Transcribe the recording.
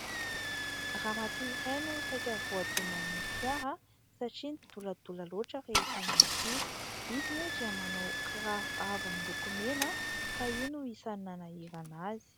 Ramatoa iray no saika voadonan'ny fiara satria nidoladola loatra rehefa niampita. Izy moa dia manao kiraro avo miloko mena, ka io no isany nanahirana azy.